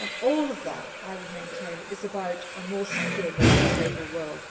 All of that, I would maintain, is about a more secure, more stable